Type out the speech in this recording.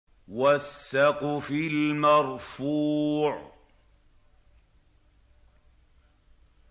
وَالسَّقْفِ الْمَرْفُوعِ